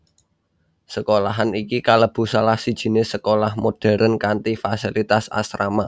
Sekolahan iki kalebu salah sijiné sekolah modern kanthi fasilitas asrama